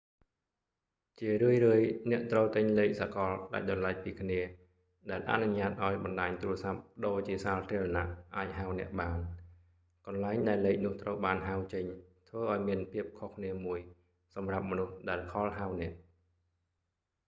ជារឿយ ៗ អ្នកត្រូវទិញលេខសកលដាច់ដោយឡែកពីគ្នាដែលអនុញ្ញាតឱ្យបណ្តាញទូរស័ព្ទប្ដូរជាសាធារណៈអាចហៅអ្នកបាន កន្លែងដែលលេខនោះត្រូវបានហៅចេញធ្វើឱ្យមានភាពខុសគ្នាមួយសម្រាប់មនុស្សដែលខលហៅអ្នក